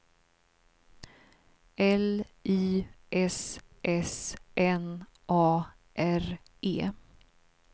L Y S S N A R E